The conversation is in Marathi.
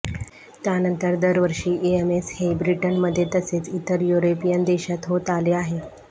त्यानंतर दरवर्षी ईएमएस हे ब्रिटनमध्ये तसेच इतर युरोपियन देशात होत आले आहे